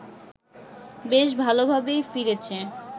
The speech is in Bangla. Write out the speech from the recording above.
বেশ ভালোভাবেই ফিরেছে